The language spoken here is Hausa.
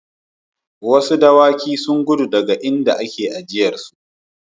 Wasu dokuna sun gudu daga inda ake aijarsu.